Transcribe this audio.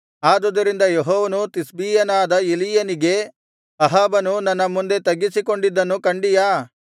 ಆದುದರಿಂದ ಯೆಹೋವನು ತಿಷ್ಬೀಯನಾದ ಎಲೀಯನಿಗೆ ಅಹಾಬನು ನನ್ನ ಮುಂದೆ ತಗ್ಗಿಸಿಕೊಂಡಿದ್ದನ್ನು ಕಂಡಿಯಾ